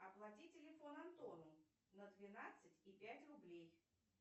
оплати телефон антону на двенадцать и пять рублей